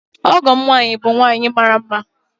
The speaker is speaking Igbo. Ọgọ'm nwanyi, bu nwanyi mara nma